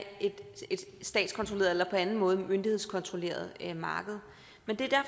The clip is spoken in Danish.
et statskontrolleret eller på anden måde myndighedskontrolleret marked men det